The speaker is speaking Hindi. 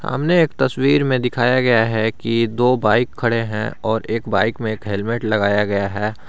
हमने एक तस्वीर में दिखाया गया है कि दो बाइक खड़े हैं और एक बाइक में एक हेलमेट लगाया गया है।